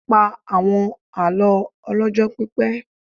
Pa àwọn àlọ́ ọlọ́jọ́ pípẹ́.